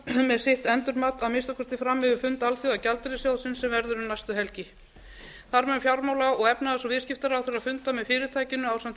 með sitt endurmat að minnsta kosti fram yfir fund alþjóðagjaldeyrissjóðsins sem verður um næstu helgi þar með mun fjármála og efnahags og viðskiptaráðherra funda með fyrirtækinu ásamt